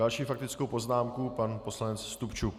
Další faktickou poznámku pan poslanec Stupčuk.